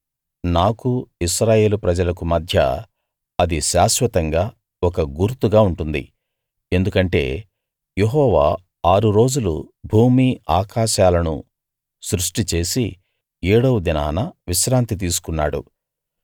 నాకు ఇశ్రాయేలు ప్రజలకు మధ్య అది శాశ్వతంగా ఒక గుర్తుగా ఉంటుంది ఎందుకంటే యెహోవా ఆరు రోజులు భూమి ఆకాశాలను సృష్టి చేసి ఏడవ దినాన విశ్రాంతి తీసుకున్నాడు